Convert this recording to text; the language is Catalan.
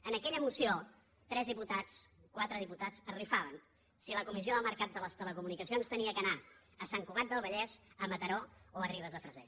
en aquella moció tres diputats quatre diputats es rifaven si la comissió del mercat de les telecomunicacions havia d’anar a sant cugat del vallès a mataró o a ribes de freser